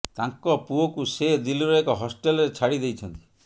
ତାଙ୍କ ପୁଅକୁ ସେ ଦିଲ୍ଲୀର ଏକ ହଷ୍ଟେଲରେ ଛାଡ଼ି ଦେଇଛନ୍ତି